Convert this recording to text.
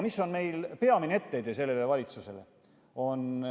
Mis on meie peamine etteheide sellele valitsusele?